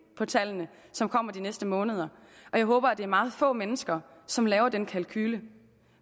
på tallene som kommer de næste måneder og jeg håber at det er meget få mennesker som laver den kalkule